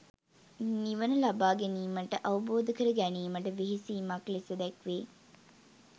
නිවන ලබා ගැනීමට අවබෝධ කර ගැනීමට වෙහෙසීමක් ලෙස දැක්වේ.